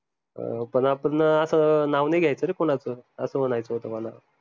पन आपंन असं नाव नाई ग्यायच रे कोनाचं असं म्हनायचं होत मला